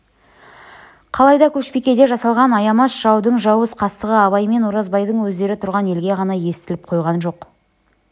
қалайда көшбикеде жасалған аямас жаудың жауыз қастығы абай мен оразбайдың өздері тұрған елге ғана естіліп қойған жоқ